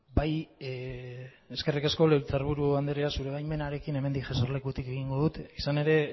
bai eskerrik asko legebiltzar buru andrea zure baimenarekin hemendik eserlekutik egingo dut izan ere